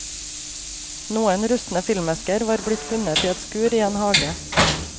Noen rustne filmesker var blitt funnet i et skur i en hage.